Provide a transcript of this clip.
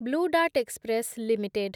blue Dart Express limited